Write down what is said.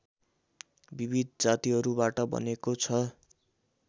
विविध जातिहरूबाट बनेको छ